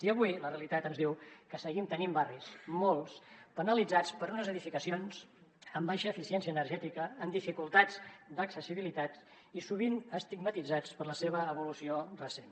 i avui la realitat ens diu que seguim tenint barris molts penalitzats per unes edificacions amb baixa eficiència energètica amb dificultats d’accessibilitat i sovint estigmatitzats per la seva evolució recent